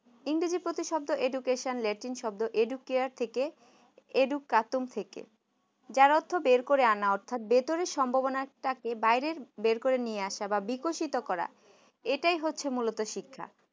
ইংরেজি প্রতিশব্দ education latin শব্দ edu care থেকে education থেকে যার অর্থ বের করে আনা ভেতরের সম্ভাবনা টাকে বের করে নিয়ে আসা বা বিকশিত করা এটাই হচ্ছে মূলত শিক্ষা